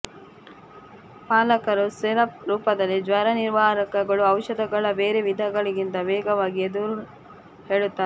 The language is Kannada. ಪಾಲಕರು ಸಿರಪ್ ರೂಪದಲ್ಲಿ ಜ್ವರನಿವಾರಕಗಳು ಔಷಧಗಳ ಬೇರೆ ವಿಧಗಳಿಗಿಂತ ವೇಗವಾಗಿ ಎಂದು ಹೇಳುತ್ತಾರೆ